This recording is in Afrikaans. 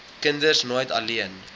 kinders nooit alleen